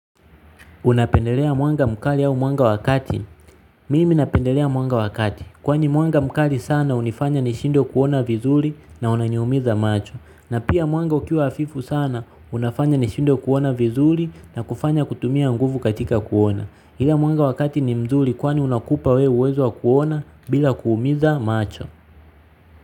Unapendelea mwanga mkali au mwanga wa kati? Mimi napendelea mwanga wa kati. Kwani mwanga mkali sana hunifanya nishindwe kuona vizuri na unaniumiza macho. Na pia mwanga ukiwa hafifu sana unafanya nishindwe kuona vizuri na kufanya kutumia nguvu katika kuona. Ila mwanga wa kati ni mzuri kwani unakupa wewe uwezo wa kuona bila kuumiza macho.